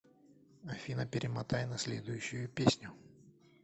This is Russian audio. афина перемотай на следующую песню